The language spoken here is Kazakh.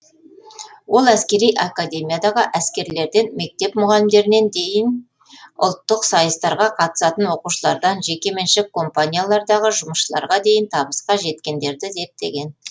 ол әскери академиядағы әскерлерден мектеп мұғалімдеріне дейін ұлттық сайыстарға қатысатын оқушылардан жеке меншік компаниялардағы жұмысшыларға дейін табысқа жеткендерді зерттеген